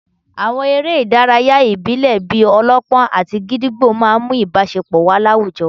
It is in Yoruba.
Àwọn eré ìdárayá ìbílẹ̀ bíi -ọlọ́pọ́n àti gídígbò máà ń mú ìbáṣepọ̀ wà láwùjọ